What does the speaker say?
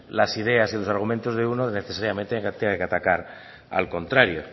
las ideas y los argumentos de uno necesariamente tenga que atacar al contrario